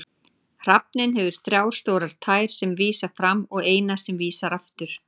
Hrafninn hefur þrjá stórar tær sem vísa fram og eina sem vísar aftur.